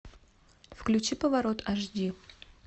включи поворот аш ди